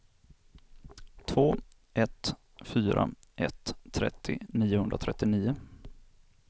två ett fyra ett trettio niohundratrettionio